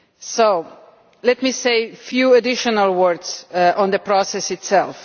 So let me say a few additional words on the process itself.